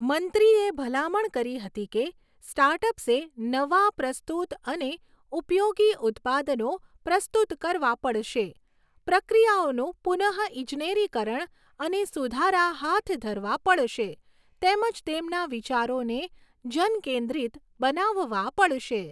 મંત્રીએ ભલામણ કરી હતી કે, સ્ટાર્ટઅપ્સે નવા, પ્રસ્તુત અને ઉપયોગી ઉત્પાદનો પ્રસ્તુત કરવા પડશે, પ્રક્રિયાઓનું પુનઃઇજનેરીકરણ અને સુધારા હાથ ધરવા પડશે તેમજ તેમના વિચારોને જનકેન્દ્રિત બનાવવા પડશે.